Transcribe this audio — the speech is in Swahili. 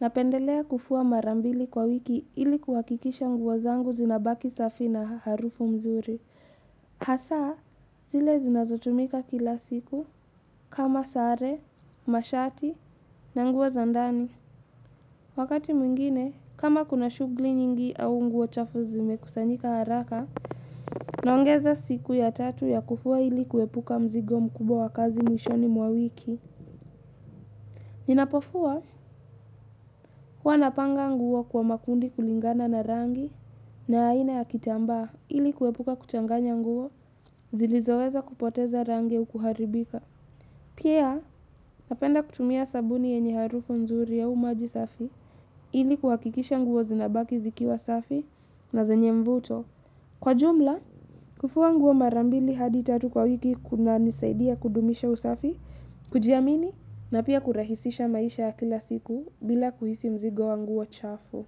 napendelea kufua mara mbili kwa wiki ili kuhakikisha nguo zangu zinabaki safi na harufu nzuri. Hasa, zile zinazotumika kila siku kama sare, mashati na nguo za ndani. Wakati mwingine, kama kuna shughuli nyingi au nguo chafu zimekusanyika haraka. Naongeza siku ya tatu ya kufua ili kuepuka mzigo mkubwa wa kazi mwishoni mwa wiki. Ninapofua, huwa napanga nguo kwa makundi kulingana na rangi na aina ya kitamba, ili kuepuka kuchanganya nguo zilizoweza kupoteza rangi au kuharibika. Pia, napenda kutumia sabuni yenye harufu nzuri au maji safi. Ili kuhakikisha nguo zinabaki zikiwa safi na zenye mvuto. Kwa jumla, kufua nguo marambili hadi tatu kwa wiki kuna nisaidia kudumisha usafi kujiamini na pia kurahisisha maisha ya kila siku bila kuhisi mzigo wa nguo chafu.